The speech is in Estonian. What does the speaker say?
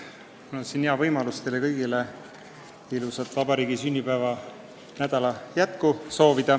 Mul on siin hea võimalus soovida teile kõigile head vabariigi sünnipäeva nädala jätku.